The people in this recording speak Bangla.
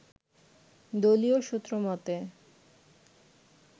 দলীয় সূত্রমতে